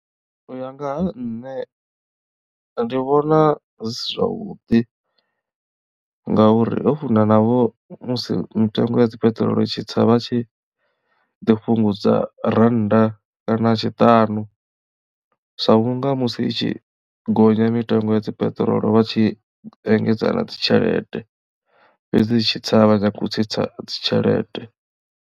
U ya nga ha nṋe ndi vhona zwi si zwavhuḓi ngauri ho funa navho musi mitengo ya dzi peṱirolo itshi tsa vha tshi ḓi fhungudza ra rannda kana tshiṱanu sa vhunga musi i tshi gonya mitengo ya dzi peṱirolo vha tshi engedza na dzi tshelede fhedzi i tshitsa a vha nyagi u tsitsa dzitshelede.